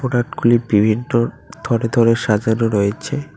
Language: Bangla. রাটগুলি বিভিন্ন থরে থরে সাজানো রয়েছে।